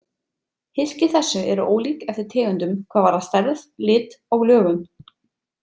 Hylki þessi eru ólík eftir tegundum hvað varðar stærð, lit og lögun.